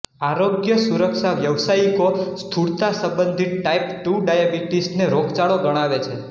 આરોગ્ય સુરક્ષા વ્યવસાયિકો સ્થુળતા સંબંધિત ટાઇપ ટુ ડાયાબીટીસ ને રોગચાળો ગણાવે છે